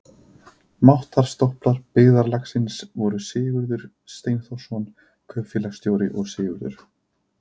Máttar- stólpar byggðarlagsins voru Sigurður Steinþórsson kaupfélagsstjóri og Sigurður